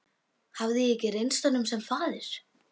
Hafði ég ekki reynst honum sem faðir?